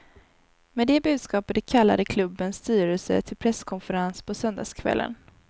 Med det budskapet kallade klubbens styrelse till presskonferens på söndagskvällen.